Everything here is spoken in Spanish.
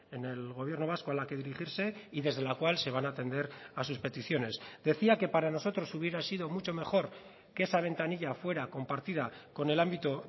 en el gobierno vasco a la que dirigirse y desde la cual se van a atender a sus peticiones decía que para nosotros hubiera sido mucho mejor que esa ventanilla fuera compartida con el ámbito